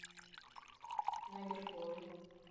нагеркоил